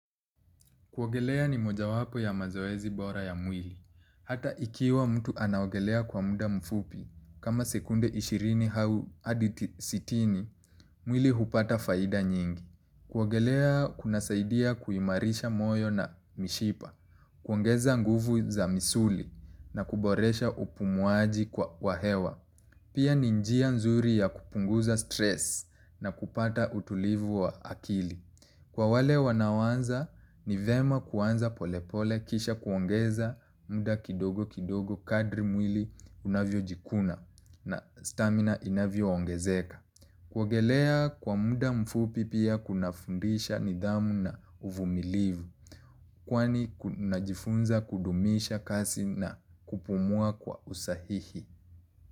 Kuwaoelea ni moja wapo ya mazoezi bora ya mwili. Hata ikiwa mtu anaogelea kwa muda mfupi, kama sekunde ishirini hau adi sitini, mwili hupata faida nyingi. Kuogelea kuna saidia kuimarisha moyo na mishipa, kuongeza nguvu za misuli na kuboresha upumuaji kwa wa hewa. Pia ni njia nzuri ya kupunguza stress na kupata utulivu wa akili. Kwa wale wanaowanza ni vema kuanza polepole kisha kuongeza muda kidogo kidogo kadri mwili unavyo jikuna na stamina inavyo ongezeka. Kuogelea kwa muda mfupi pia kuna fundisha nidhamu na uvumilivu kwani najifunza kudumisha kasi na kupumua kwa usahihi.